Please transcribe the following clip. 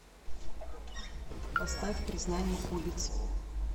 поставь признание улиц